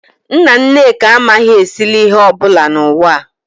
Nna nneka anaghị esili ihe ọ bụla n'ụwa a